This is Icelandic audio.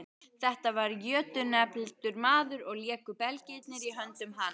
Þetta var jötunefldur maður og léku belgirnir í höndum hans.